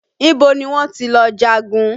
Ibo ni wọ́n ti lọ jagun?